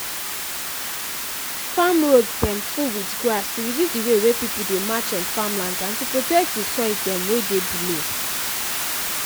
farm roads dem full with grass to reduce d way wey people dey march on farmlands and to protect the soil dem wey dey below